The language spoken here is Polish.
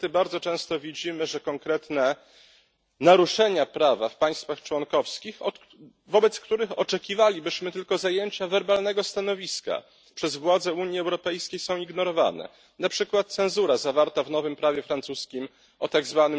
Niestety bardzo często widzimy, że konkretne naruszenia prawa w państwach członkowskich, wobec których oczekiwalibyśmy tylko werbalnego zajęcia stanowiska, przez władze Unii Europejskiej są ignorowane na przykład cenzura zawarta w nowym prawie francuskim o tzw.